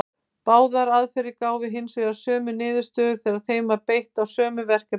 Báðar aðferðir gáfu hins vegar sömu niðurstöður þegar þeim var beitt á sömu verkefnin.